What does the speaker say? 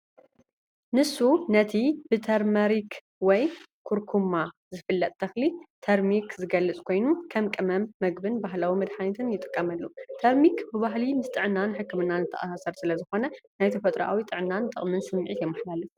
ንሱ ነቲ ብ'ተርመሪክ' ወይ 'ኩርኩማ' ዝፍለጥ ተኽሊ ተርሚክ ዝገልጽ ኮይኑ፡ ከም ቀመም መግብን ባህላዊ መድሃኒትን ይጥቀመሉ። ተርሚክ ብባህሊ ምስ ጥዕናን ሕክምናን ዝተኣሳሰር ስለዝኾነ፡ ናይ ተፈጥሮኣዊ ጥዕናን ጠቕምን ስምዒት የመሓላልፍ።